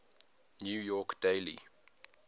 new york daily